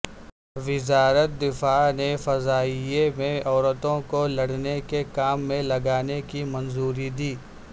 وزارت دفاع نے فضائیہ میں عورتوں کو لڑنے کے کام میں لگانے کی منظوری دی